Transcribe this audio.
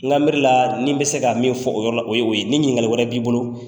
N ka miiri ni n bi se ka min fɔ o yo ye. Ni ɲininkali wɛrɛ b'i bolo